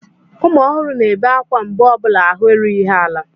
Ụmụ ohuru na-ebe ákwá mgbe ọ bụla ahụ erughị ha ala.